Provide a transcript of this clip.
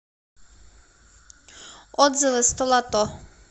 отзывы столото